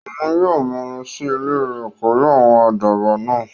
Òun yóò maa lọ sí ilẹ̀ rẹ̀ pẹ̀lú àwọn àdàbà náà